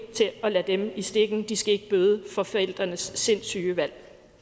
at lade dem i stikken de skal ikke bøde for forældrenes sindssyge valg